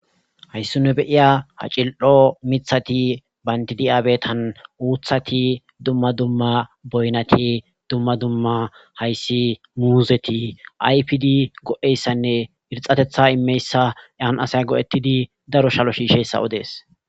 hayssu ne beiya ha cil7o mithati bayndidiyabetan uuthati dumma dumma boynati dumma dumma hayssi muuzeti ayfdi go7eyssanne irxatetha immeyssa yan asay go7ettidi daro shalo shiisheyssa odees